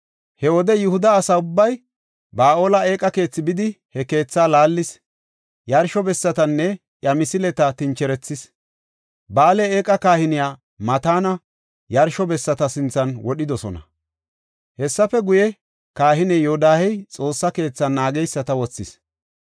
He wode Yihuda asa ubbay Ba7aale eeqa keethi bidi, he keethaa laallis; yarsho bessatanne iya misileta tincherethis. Ba7aale eeqa kahiniya Mataana yarsho bessata sinthan wodhidosona. Hessafe guye, kahiniya Yoodahey Xoossa keethan naageysata wothis.